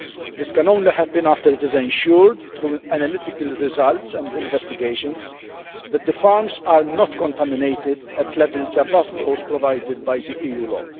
This can only happen after it is ensured through analytical results and investigations that the farms are not contaminated at levels above those provided by the EU law.